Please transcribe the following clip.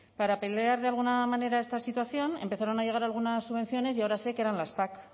para pelear de alguna manera esta situación empezaron a llegar algunas subvenciones y ahora sé que eran las pac